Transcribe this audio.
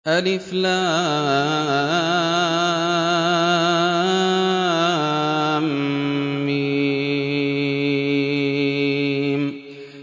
الم